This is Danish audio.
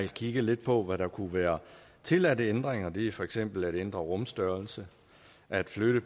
kigget lidt på hvad der kunne være tilladte ændringer og det er for eksempel at ændre rumstørrelse at flytte